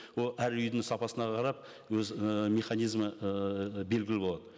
ол әр үйдің сапасына қарап өз ііі мезанизмі ыыы белгілі болады